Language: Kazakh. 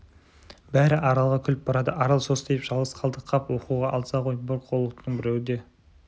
бәрі аралға күліп барады арал состиып жалғыз қалды қап оқуға алса ғой бұл қорлықтың біреуі де